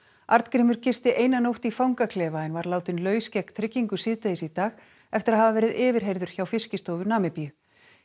Arngrímur gisti eina nótt í fangaklefa en var látinn laus gegn tryggingu síðdegis í dag eftir að hafa verið yfirheyrður hjá Fiskistofu Namibíu